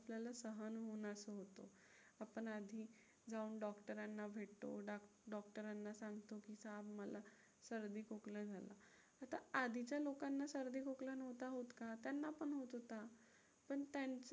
आपण आधी जाऊन डॉक्टरांना भेटतो. डॉक्टरांना सांगतो की का मला सर्दी-खोकला झालं. आता आधीच्या लोकांना सर्दी-खोकला नव्हता होत का? त्यांना पण होत होता. पण त्यांचं